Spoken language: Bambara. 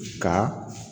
Ka